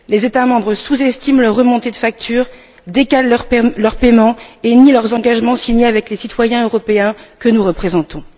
Les États membres sous estiment leurs remontées de factures, décalent leurs paiements et nient leurs engagements signés avec les citoyens européens que nous représentons